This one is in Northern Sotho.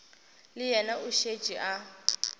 le yena o šetše a